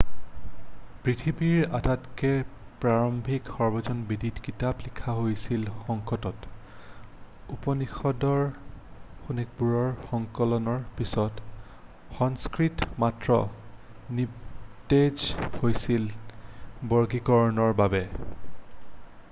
পৃথিৱীৰ আটাইতকৈ প্ৰাৰম্ভিক সৰ্বজন বিদিত কিতাপ লিখা হৈছিল সংস্কৃতত উপনিষদবোৰৰ সংকলনৰ পিছত সংস্কৃত মাত্ৰ নিস্তেজ হৈছিল বৰ্গীকৰণৰ বাবে